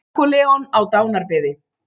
Napóleon á dánarbeði.